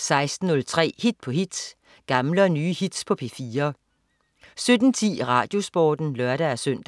16.03 Hit på hit. Gamle og nye hits på P4 17.10 RadioSporten (lør-søn)